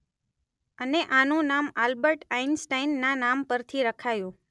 અને આનું નામ આલ્બર્ટ આઇનસ્ટાઈન ના નામપરથી રખાયું.